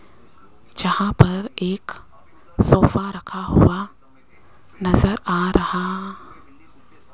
जहां पर एक सोफा रखा हुआ नजर आ रहा --